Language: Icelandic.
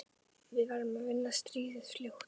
Við verðum að vinna stríðið fljótt.